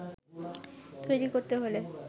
তৈরি করতে হলে